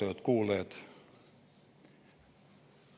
Austatud kuulajad!